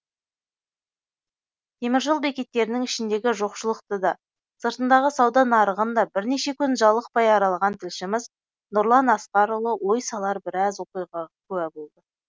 теміржол бекеттерінің ішіндегі жоқшылықты да сыртындағы сауда нарығын да бірнеше күн жалықпай аралаған тілшіміз нұрлан асқарұлы ой салар біраз оқиғаға куә болды